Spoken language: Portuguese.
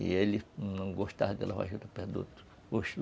E ele não gostava de lavar juta perto do outro, oxe.